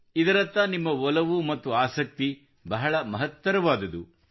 ಇದರತ್ತ ನಿಮ್ಮ ಒಲವು ಮತ್ತು ಆಸಕ್ತಿ ಬಹಳ ಮಹತ್ತರವಾದುದು